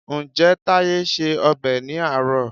Ǹjẹ́ Táyé se ọbẹ̀ ní àárọ̀?